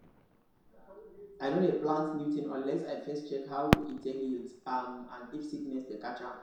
i no dey plant new thing unless i first check how e take yield um and if sickness dey catch am